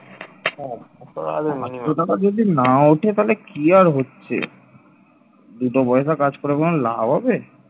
দুটো পয়সা কাজ করে কোন লাভ হবে